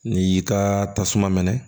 N'i y'i ka tasuma mɛnɛ